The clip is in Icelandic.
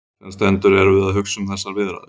Sem sendur erum við að hugsa um þessar viðræður.